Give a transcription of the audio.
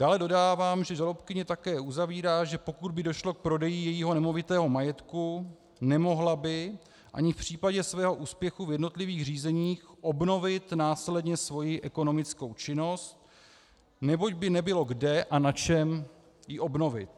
Dále dodávám, že žalobkyně také uzavírá, že pokud by došlo k prodeji jejího nemovitého majetku, nemohla by ani v případě svého úspěchu v jednotlivých řízeních obnovit následně svoji ekonomickou činnost, neboť by nebylo kde a na čem ji obnovit.